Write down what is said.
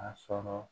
A sɔrɔ